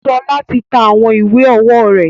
Ṣọlá ti ta àwọn ìwé ọwọ́ rẹ̀.